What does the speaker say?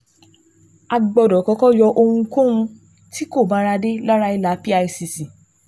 A gbọ́dọ̀ kọ́kọ́ yọ ohunkóun tí kò báradé lára ìlà PICC